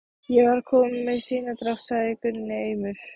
Ég var bara kominn með sinadrátt, sagði Gunni aumur.